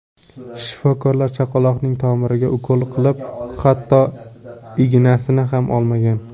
Shifokorlar chaqaloqning tomiriga ukol qilib, hatto ignasini ham olmagan.